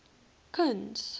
kuns